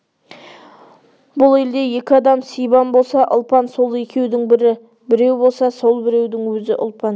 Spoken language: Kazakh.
бұл елде екі адам сибан болса ұлпан сол екеудің бірі біреу болса сол біреудің өзі ұлпан